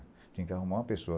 Tinha que arrumar uma pessoa.